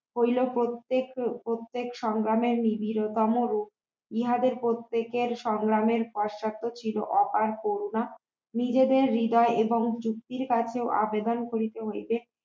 হইলেও প্রত্যেক প্রত্যেক সংগ্রামের নিবিড়তম ইহাদের প্রত্যেকের সংগ্রামের ভরসা তো ছিল অপার করুণা নিজেদের হৃদয় এবং যুক্তির কাছেও আবেদন করিতে হইবে